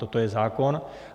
Toto je zákon.